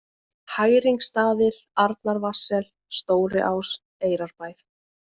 Hæringsstaðir, Arnarvatnssel, Stóriás, Eyrarbær